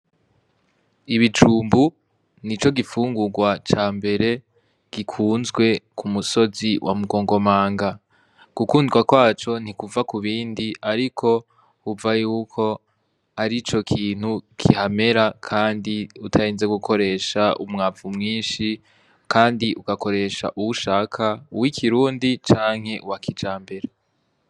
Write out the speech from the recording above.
Ibijumbu ni co gifungurwa ca mbere gikunzwe ku musozi wa mugongomanga, gukundwa kwaco ntikuva ku bindi, ariko uva yuko ari co kintu gihamera, kandi utahenze gukoresha umwavu mwinshi, kandi uka koresha uwushaka uwo ikirundi canke wakija mbera.